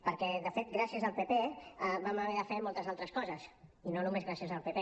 perquè de fet gràcies al pp vam a haver de fer moltes altres coses i no només gràcies al pp